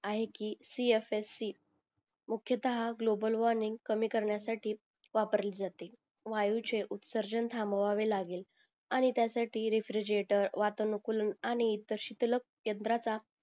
आहे कि C F S C मुख्यता हा ग्लोबल वॉर्मिंग कमी करण्या साठी वापरले जाते वायूचे उत्सर्जन थाम्बवावे लागेल आणि त्यासाठी रेफ्रीजेटर वातंनकुलन आणि तशी तलक यंत्राचा